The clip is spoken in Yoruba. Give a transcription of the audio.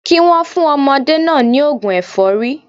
Kí wọ́n fún ọmọdé náà ní ògùn ẹ̀fọ́rí